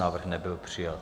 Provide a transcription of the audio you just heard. Návrh nebyl přijat.